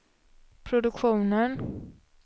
produktionen